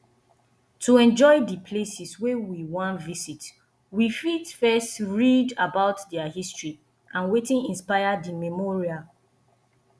to enjoy di places wey we wan visit we fit first read about their history and wetin inspire di memorial